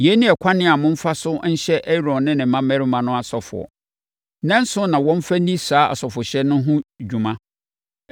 “Yei ne ɛkwan a momfa so nhyɛ Aaron ne ne mmammarima no asɔfoɔ. Nnanson na wɔmfa nni saa asɔfohyɛ no ho dwuma.